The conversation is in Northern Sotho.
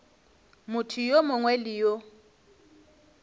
motho yo mongwe le yo